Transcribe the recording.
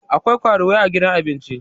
akwai karuwai a gidan abinci